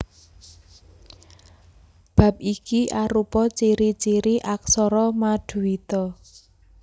Bab iki arupa ciri ciri aksara maduita